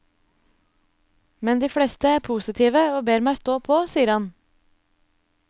Men de fleste er positive og ber meg stå på, sier han.